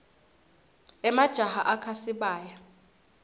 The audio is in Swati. emajaha akha sibaya